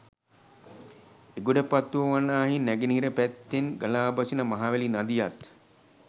එගොඩපත්තුව වනාහි නැගෙනහිර පැත්තෙන් ගලා බසින මහවැලි නදියත්